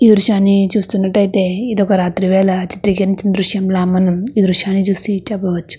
ఈ దృశ్యాన్ని చూసినట్టు ఏవైతే ఇది రాత్రి వేళల చిత్రీకరించిన దృశ్యంలా మనం ఈ దృశ్యాని చూసి చేపవచ్చు.